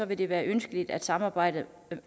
vil det være ønskeligt at samarbejde